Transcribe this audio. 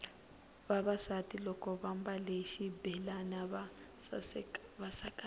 vavasati loko vambale xibelani va sakamela